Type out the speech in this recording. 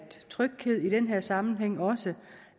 tryghed i den her sammenhæng også